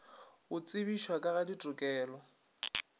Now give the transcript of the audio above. go tsebišwa ka ga ditokelo